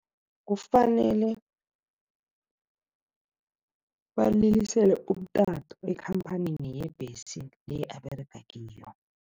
Kufanele balilisele umtato ekhamphanini yebhesi le aberega kiyo.